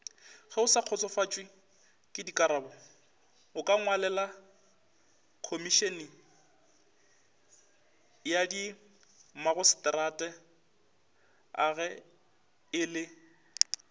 geosakgotsofatšwekekarabo okangwalelakhomišeneyadimmagaseterata ge e le